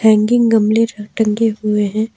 Hanging गमले टंगे हुए है।